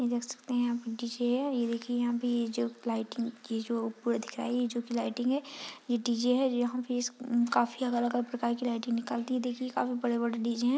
ये देख सकते हैं आप डी.जे. है। ये देखिये यहाँ भी जो लाइटिंग ये जो पूरा दिख रहा है ये जो की लाइटिंग है। ये डी.जे. है। यहाँ पे इस न्-काफी अलग-अलग प्रकार की लाइटिंग निकलती है। देखिए काफी बड़े-बड़े डी.जे. हैं।